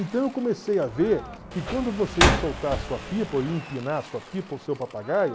Então eu comecei a ver que quando você ia soltar a sua pipa ou ia empinar a sua pipa ou o seu papagaio,